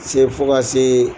se fo ka se